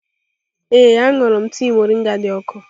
Ee, ahụrụ m tii moringa dị ọkụ.